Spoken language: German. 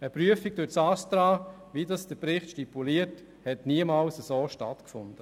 Eine Prüfung durch das ASTRA, wie der Bericht stipuliert, hat so niemals stattgefunden.